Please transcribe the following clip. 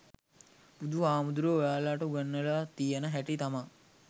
බුදු හාමුදුරුවො ඔයාලට උගන්නල තියෙන හැටි තමා